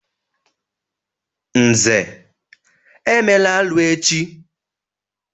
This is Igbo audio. Nze, emela arụ echi!